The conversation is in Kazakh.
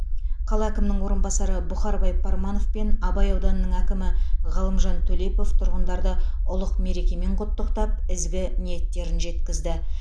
қала әкімінің орынбасары бұхарбай парманов пен абай ауданының әкімі ғалымжан төлепов тұрғындарды ұлық мерекемен құттықтап ізгі ниеттерін жеткізді